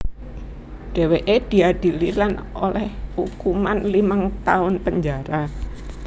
Dhèwèké diadili lan olèh ukuman limang taun penjara